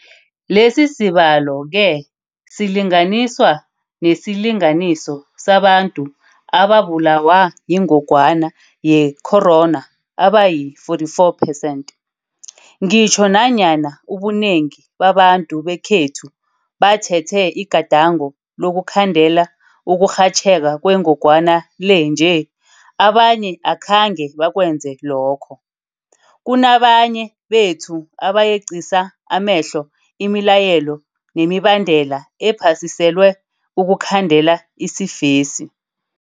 Lesisibalo-ke silinganiswa nesilinganiso sabantu ababulawa yingogwana ye-corona abayi-4.4 percent. Ngitjho nanyana ubunengi babantu bekhethu bathethe igadango lokukhandela ukurhatjheka kwengogwana le nje, abanye akhange bakwenze lokho. Kunabanye bethu abayeqisa amehlo imilayelo nemibandela ephasiselwe ukukhandela isifesi.